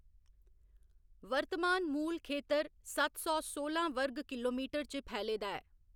वर्तमान मूल खेतर सत्त सौ सोलां वर्ग किलोमीटर च फैले दा ऐ।